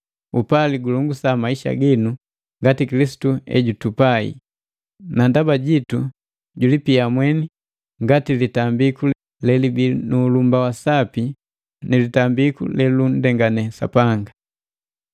Upali gulongosa maisha ginu ngati Kilisitu ejutupai, na ndaba jitu julipia mweni ngati litambiku lelibii nu ulumba wa sapi ni litambiku lelunndengane Sapanga.